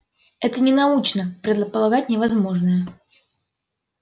это ненаучно предполагать невозможное